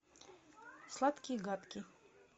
сладкий и гадкий